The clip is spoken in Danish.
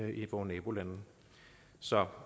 i vore nabolande så